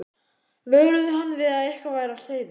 vöruðu hann við að eitthvað væri á seyði.